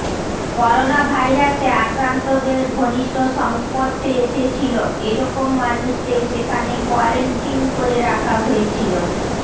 করোনাভাইরাসে আক্রান্তদের ঘনিষ্ঠ সংস্পর্শে এসেছিল এরকম মানুষদের সেখানে কোয়ারেন্টিন করে রাখা হয়েছিল